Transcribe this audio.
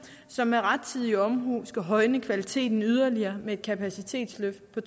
som med rettidig omhu skal højne kvaliteten yderligere med et kapacitetsløft på